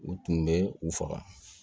U tun bɛ u faga